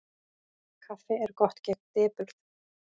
Kaffi er gott gegn depurð.